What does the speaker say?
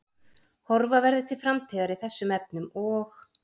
Horfa verði til framtíðar í þessum efnum og?